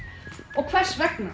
og hvers vegna